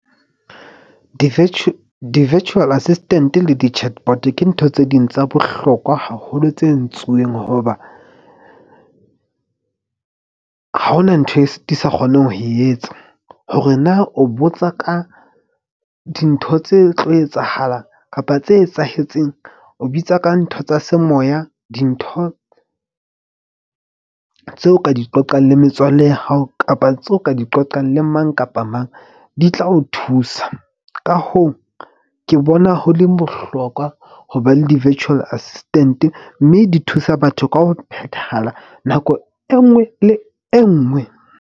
Di-virtual assistant-e le di-chat bot ke ntho tse ding tsa bohlokwa haholo, tse entsweng hoba ha hona ntho e sa di sa kgoneng ho e etsa. Hore na o botsa ka dintho tse tlo etsahalang kapa tse etsahetseng. O bitsa ka ntho tsa semoya. Dintho tseo ka di qoqang le metswalle ya hao, kapa tseo ka di qoqang le mang kapa mang. Di tla o thusa, ka hoo, ke bona ho le bohlokwa ho ba le di-virtual assistant-e mme di thusa batho ka ho phethahala nako e nngwe le e nngwe.